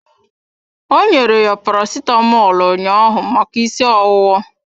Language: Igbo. Ọ nyere ya Paracetamọl ụnyaahụ maka ịsị ọwụwa.